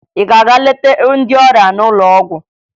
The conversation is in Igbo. Ị ga-aga leta ndị ọrịa n'ụlọ ọgwụ?